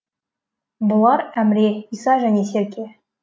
бұлар әміре иса және серке